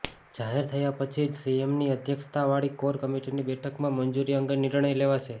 જાહેર થયા પછી જ સીએમની અધ્યક્ષતાવાળી કોર કમિટીની બેઠકમાં મંજૂરી અંગે નિર્ણય લેવાશે